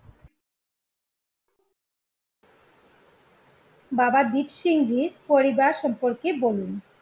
বাবা দিরসিংয়ের পরিবার সম্পর্কে বলুন